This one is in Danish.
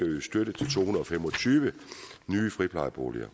at yde støtte til to hundrede og fem og tyve nye friplejeboliger